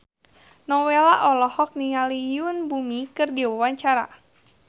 Nowela olohok ningali Yoon Bomi keur diwawancara